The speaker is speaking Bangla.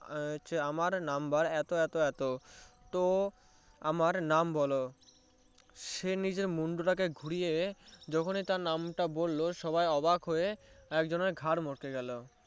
আমার number এত এত এত তো আমার নাম বলো সে নিজের মুন্ডু টাকে ঘুরিয়ে যখনই তার নামটা বললো সবাই অবাক হয়ে একজনের ঘাড় মটকে গেলো